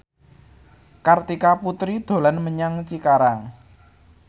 Kartika Putri dolan menyang Cikarang